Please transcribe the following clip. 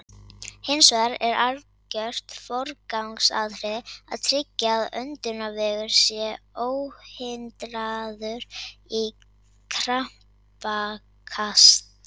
Hins vegar er algjört forgangsatriði að tryggja að öndunarvegur sé óhindraður í krampakasti.